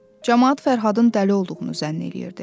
Camaat Fərhadın dəli olduğunu zənn eləyirdi.